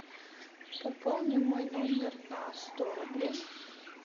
пополни мой номер на сто рублей